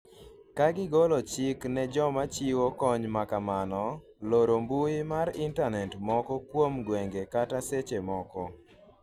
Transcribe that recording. ka gigolo chik ne joma chiwo kony makamano loro mbui mar intanete moko kuom gwenge kata seche moko